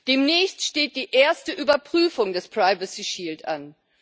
Demnächst steht die erste Überprüfung des privacy shield an.